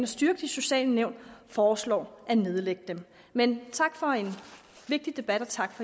styrke de sociale nævn foreslår at nedlægge dem man tak for en vigtig debat og tak